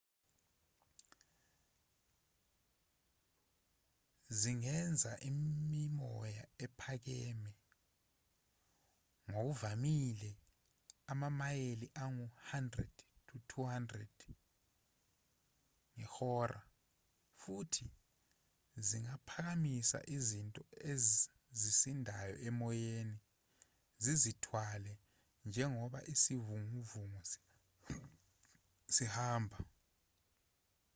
zingenza imimoya ephakeme ngokuvamile amamayeli angu-100-200/ihora futhi zingaphakamisa izinto ezisindayo emoyeni zizithwale njengoba isivunguvungu sihamba